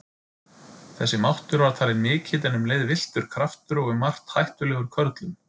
Þessi máttur var talinn mikill en um leið villtur kraftur og um margt hættulegur körlum.